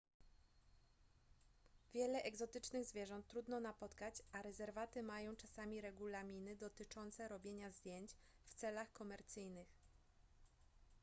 wiele egzotycznych zwierząt trudno napotkać a rezerwaty mają czasami regulaminy dotyczące robienia zdjęć w celach komercyjnych